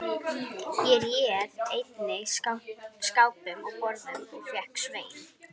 Ég réð einnig skápum og borðum og fékk Svein